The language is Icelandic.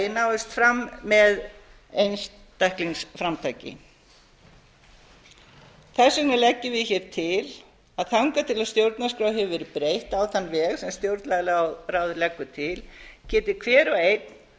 náist fram með einstaklingsframtaki þess vegna leggjum við hér til að þangað til stjórnarskrá hefur verið breytt á þann veg sem stjórnlagaráð leggur til geti hver og einn